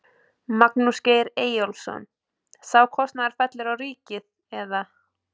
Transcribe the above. Magnús Geir Eyjólfsson: Sá kostnaður fellur á ríkið eða?